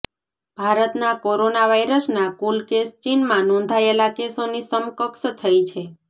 ભારતના કોરોના વાઇરસના કુલ કેસ ચીનમાં નોંધાયેલા કેસોની સમકક્ષ થઈ છે